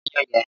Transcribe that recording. Lọ pa aáyán yẹn!